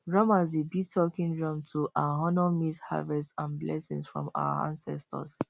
drummers dey beat talking drum to um honour maize harvest and blessing from our ancestors